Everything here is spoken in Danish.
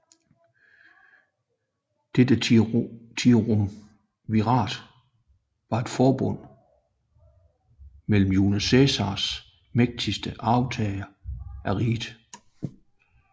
Dette triumvirat var et forbund mellem Julius Cæsars mægtigste arvtagere af riget